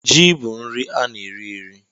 Jị bụ nri ana eri eri